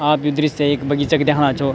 आप यु दृश्य एक बगीचा क दैखणा छौ।